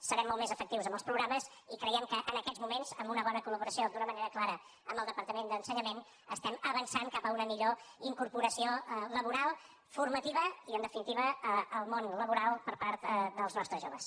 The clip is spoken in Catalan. serem molt més efectius amb els programes i creiem que en aquests moments amb una bona col·laboració d’una manera clara amb el departament d’ensenyament estem avançant cap a una millor incorporació laboral formativa i en definitiva al món laboral per part dels nostres joves